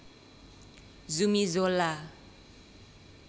Zumi Zola